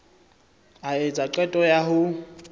a etsa qeto ya ho